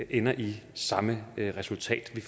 ender i samme resultat vi